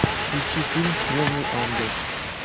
включи фильм снежный ангел